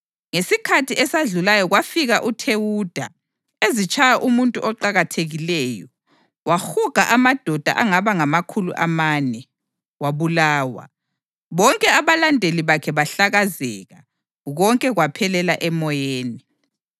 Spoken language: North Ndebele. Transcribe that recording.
Ngesikhathi esadlulayo kwafika uThewuda ezitshaya umuntu oqakathekileyo, wahuga amadoda angaba ngamakhulu amane. Wabulawa, bonke abalandeli bakhe bahlakazeka, konke kwaphelela emoyeni.